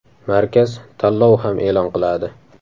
Markaz tanlov ham e’lon qiladi!